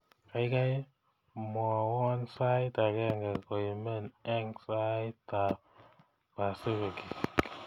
Gaigai mwawon sait agenge koimeni eng saitab pasifik